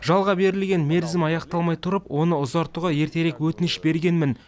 жалға берілген мерзімі аяқталмай тұрып оны ұзартуға ертерек өтініш бергенмін